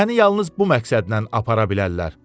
Məni yalnız bu məqsədlə apara bilərlər.